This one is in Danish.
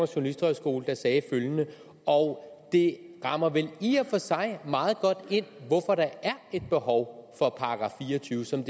journalisthøjskole der sagde det og det rammer vel i og for sig meget godt ind hvorfor der er et behov for § fire og tyve som